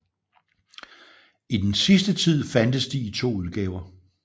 I den sidste tid fandtes de i to udgaver